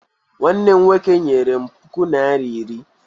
Nwannem nwoke nyere m puku naira iri.